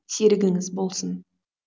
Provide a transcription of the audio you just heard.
серігіңіз болсын